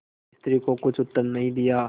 स्त्री को कुछ उत्तर नहीं दिया